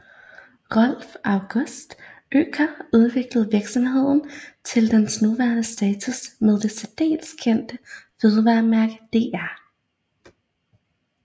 Rudolf August Oetker udviklede virksomheden til dens nuværende status med det særdeles kendt fødevaremærke Dr